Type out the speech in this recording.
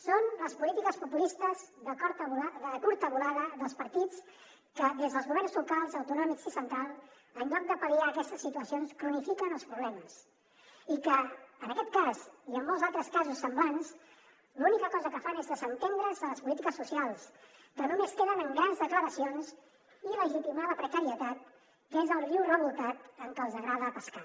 són les polítiques populistes de curta volada dels partits que des dels governs locals autonòmics i central en lloc de pal·liar aquestes situacions cronifiquen els problemes i que en aquest cas i en molts altres casos semblants l’única cosa que fan és desentendre’s de les polítiques socials que només queden en grans declaracions i legitimar la precarietat que és el riu revoltat en què els agrada pescar